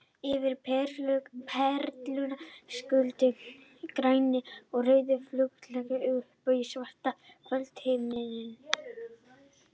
Yfir Perlunni skutust grænir og rauðir flugeldar upp í svartan kvöldhimininn.